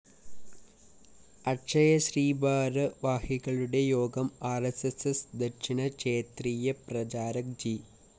അക്ഷയശ്രീ ഭാരവാഹികളുടെ യോഗം R S S ദക്ഷിണ ക്ഷേത്രീയ പ്രചാരക് ജി